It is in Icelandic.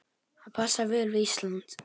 Það passar vel við Ísland.